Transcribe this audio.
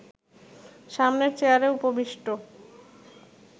সামনের চেয়ারে উপবিষ্ট